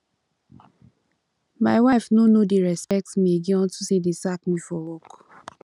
my wife no no dey respect me again unto say dey sack me for work